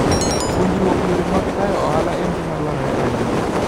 Puonjruok yore mag tayo ohala en gima dwarore ahinya.